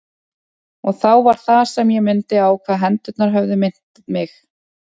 Og þá var það sem ég mundi á hvað hendurnar höfðu minnt mig.